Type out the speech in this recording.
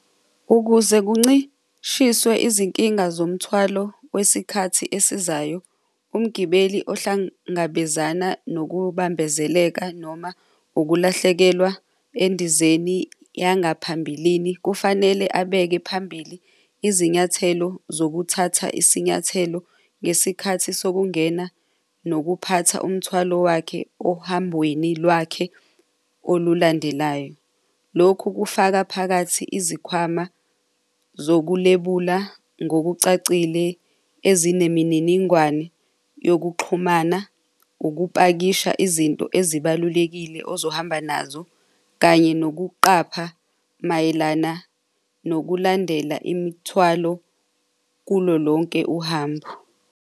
Ukuze kuncishiswe izinkinga zomuthwalo wesikhathi esizayo, umgibeli ohlangabezana nokubambezeleka noma ukulahlekelwa endizeni yangaphambilini kufanele abeke phambili izinyathelo zokuthatha isinyathelo ngesikhathi sokungena nokuphatha umthwalo wakhe ohambweni lwakhe olulandelayo. Lokhu kufaka phakathi izikhwama zokulebula ngokucacile ezinemininingwane yokuxhumana, ukupakisha izinto ezibalulekile ozohamba nazo, kanye nokuqapha mayelana nokulandela imithwalo kulo lonke uhambo.